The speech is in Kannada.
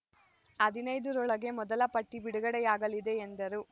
ಹದಿನೈದು ರೊಳಗೆ ಮೊದಲ ಪಟ್ಟಿ ಬಿಡುಗಡೆಯಾಗಲಿದೆ ಎಂದರು